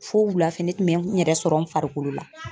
Fo wulafɛ ne tun bɛ n yɛrɛ sɔrɔ n farikolo la.